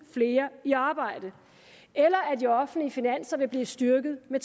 flere i arbejde eller at de offentlige finanser vil blive styrket med